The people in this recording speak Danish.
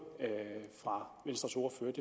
fra venstres ordfører